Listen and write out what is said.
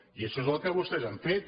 i això és el que vostès han fet